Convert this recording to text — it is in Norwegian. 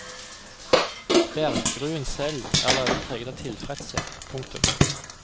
Berggruen selv er allerede preget av tilfredshet. punktum